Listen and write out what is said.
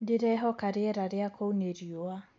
ndirehoka rĩera ria kũũ ni rĩũa